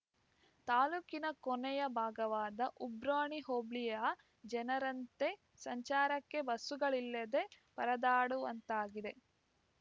ತಾಲೂಕಿನ ಕೊನೆಯ ಭಾಗವಾದ ಉಬ್ರಾಣಿ ಹೋಬಳಿಯ ಜನರಂತೆ ಸಂಚಾರಕ್ಕೆ ಬಸ್ಸುಗಳಿಲ್ಲದೆ ಪರದಾಡುವಂತಾಗಿದೆ